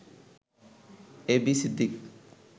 A B Siddique